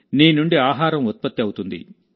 నీ నుండి ఆహారం ఉత్పత్తి అవుతుంది